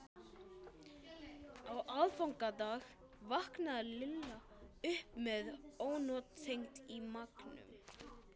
Á aðfangadag vaknaði Lilla upp með ónotakennd í maganum.